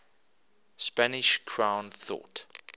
spanish crown thought